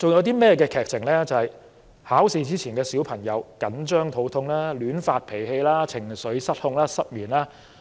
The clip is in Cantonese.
便是考試前小朋友緊張得肚痛、亂發脾氣、情緒失控和失眠的情況。